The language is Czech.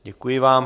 Děkuji vám.